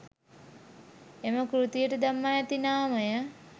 එම කෘතියට දමා ඇති නාමය